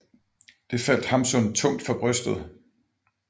Det faldt Hamsun tungt for brystet